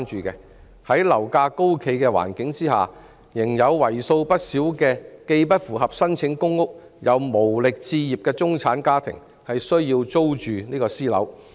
在樓價高企的環境下，仍有為數不少既不符合資格申請公屋、又無力置業的中產家庭需要租住私樓。